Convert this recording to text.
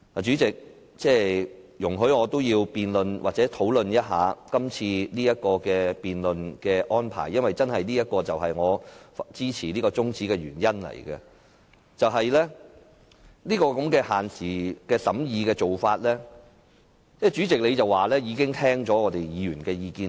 主席，請容許我討論一下今次的辯論安排，因為這亦關乎我支持這項中止待續議案的原因。對於限時審議的做法，你表示已經聽到議員的意見。